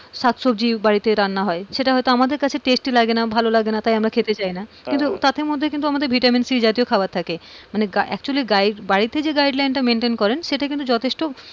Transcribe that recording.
শাকসবজি বাড়িতে রান্না হয় সেটা হয়তো আমাদের জন্য tasty লাগেনা ভালোলাগে না তাই আমরা খেতে চাই না, কিন্তু তাথে মধ্যে কিন্তু আমাদের ভিটামিন সি জাতীয় খাবার থাকে, মানে actually বাড়িতে যে giudeline তা maintain করেন সেটা কিন্তু যথেষ্ট,